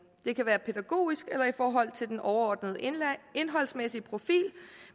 det kan være pædagogisk eller i forhold til den overordnede indholdsmæssige profil